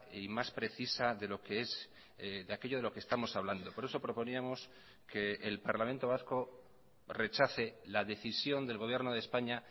y más precisa de lo que es de aquello de lo que estamos hablando por eso proponíamos que el parlamento vasco rechace la decisión del gobierno de españa